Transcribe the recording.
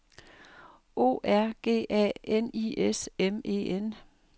O R G A N I S M E N